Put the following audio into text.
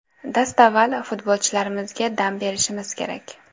Dastavval, futbolchilarimizga dam berishimiz kerak.